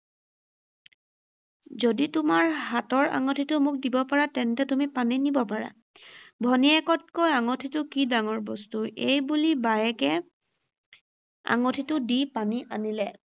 যদি তোমাৰ হাতৰ আঙঠিটো মোক দিব পাৰা তেন্তে তুমি পানী নিব পাৰা।“ ভানীয়েকতকৈ আঙঠিটো কি ডাঙৰ বস্তু, এই বুলি বায়েকে আঙঠিটো দি পানী আনিলে।